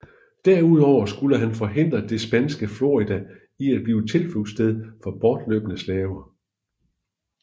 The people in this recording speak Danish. Derudover skulle han forhindre det spanske Florida i at blive tilflugtssted for bortløbne slaver